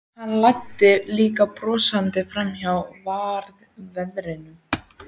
Hann læddi líka brosi fram á varirnar.